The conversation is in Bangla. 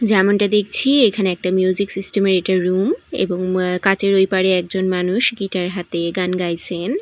যেমনটা দেখছি এখানে একটা মিউজিক সিস্টেম -এর এটা রুম এবং কাঁচের ওই পারে একজন মানুষ গিটার হাতে গান গাইসেন।